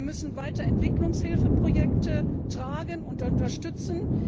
Wir müssen weiter Entwicklungshilfeprojekte mittragen und unterstützen.